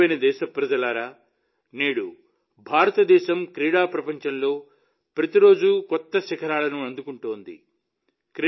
నా ప్రియమైన దేశప్రజలారా నేడు భారతదేశం క్రీడా ప్రపంచంలో ప్రతిరోజు కొత్త శిఖరాలను అందుకుంటోంది